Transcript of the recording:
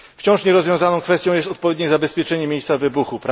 Wciąż nierozwiązaną kwestią jest odpowiednie zabezpieczenie miejsca wybuchu.